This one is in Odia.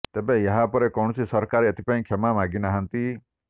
ତେବେ ଏହା ପରେ କୌଣସି ସରକାର ଏଥିପାଇଁ କ୍ଷମା ମାଗି ନାହାନ୍ତି